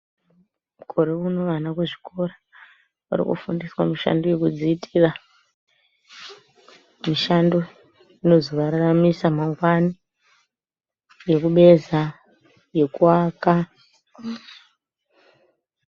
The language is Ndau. Mukore uno vana muzvikora vari kufundiswa mishando yekudziitira mishando inozovararamisa mangwanani, yekubeza, yekuaka..